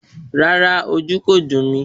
Rárá, ojú kò dùn mí